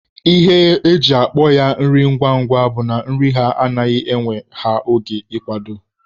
Ihe eji akpọ ya nri ngwa ngwa bụ na nri ha anaghị ewe ha oge ị kwado.